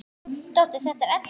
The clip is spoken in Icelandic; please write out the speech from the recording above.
Dóttir þeirra er Edda.